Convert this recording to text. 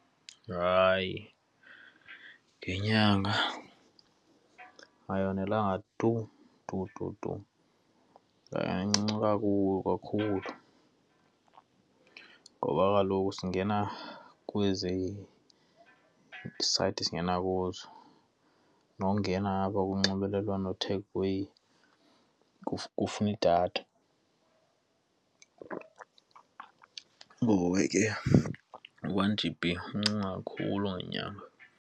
Hayi, ngenyanga ayonelanga tu tu tu tu nancinci kakubi kakhulu ngoba kaloku singena kwezi sayithi singena kuzo nokungena apha kunxibelelwano kufuna idatha. Ngoku ke u-one GB mncinci kakhulu ngenyanga.